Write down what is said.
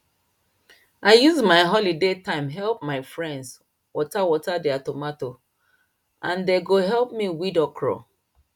i use my holiday time help my friends water water their tomato and dem go help me weed okro